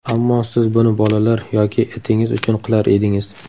Ammo siz buni bolalar yoki itingiz uchun qilar edingiz.